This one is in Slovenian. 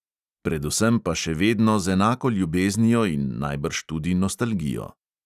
Predvsem pa še vedno z enako ljubeznijo in najbrž tudi nostalgijo.